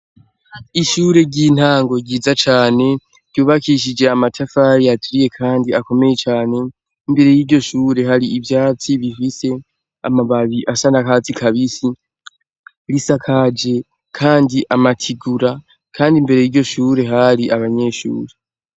Ishure ry'intango ryiza cane ryubakishije amatafari aturiye, kandi akomeye cane imbere y'iryo shure hari ivyatsi bifise amababii asa na katsi kabisi risakaje, kandi amatigura, kandi imbere yiryo shure hari abanyeshuri.